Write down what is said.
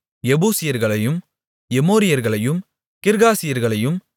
எபூசியர்களையும் எமோரியர்களையும் கிர்காசியர்களையும்